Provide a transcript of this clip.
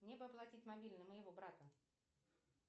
мне бы оплатить мобильный моего брата